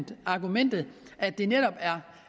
det argument at det netop er